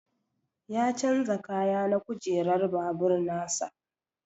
Ya chanza kaya na kujerar babur nasa.